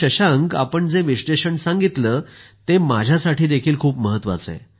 शशांक आपण जे विश्लेषण सांगितलं ते माझ्यासाठीही खूप महत्वाचं आहे